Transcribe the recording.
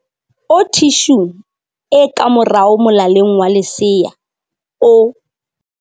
o thi shung e ka morao molaleng wa lesea o